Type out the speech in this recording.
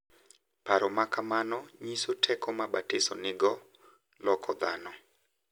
Paro ma kamano nyiso teko ma batiso nigo mar loko dhano,